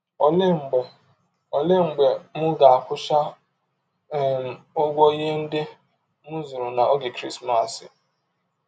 Ọlee mgbe Ọlee mgbe m ga - akwụcha um ụgwọ ihe ndị m zụrụ n’ọge Krismas? ’